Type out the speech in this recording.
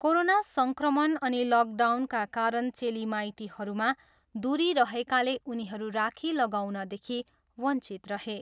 Corona सङ्क्रमण अनि लकडाउनका कारण चेली माइतीहरूमा दुरी रहेकाले उनीहरू राखी लगाउनदेखि वञ्चित रहे।